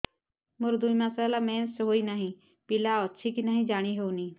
ମୋର ଦୁଇ ମାସ ହେଲା ମେନ୍ସେସ ହୋଇ ନାହିଁ ପିଲା ଅଛି କି ନାହିଁ ଜାଣି ହେଉନି